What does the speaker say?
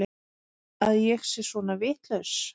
Að ég sé svona vitlaus?